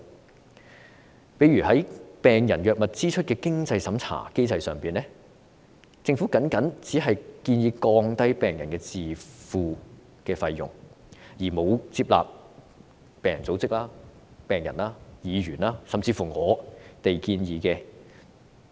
舉例來說，在病人藥物支出的經濟審查機制上，政府只建議降低病人的自付費用，沒有接納病人組織、病人、議員甚至我們的建議。